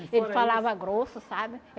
Ele falava grosso, sabe?